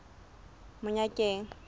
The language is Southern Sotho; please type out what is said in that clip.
monyakeng